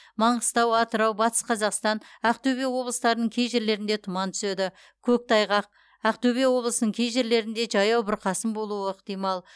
маңғыстау атырау батыс қазақстан ақтөбе облыстарының кей жерлерінде тұман түседі көктайғақ ақтөбе облысының кей жерлерінде жаяу бұрқасын болуы ықтимал